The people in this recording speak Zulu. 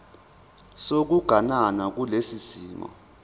sokuganana kulesi simo